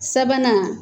Sabanan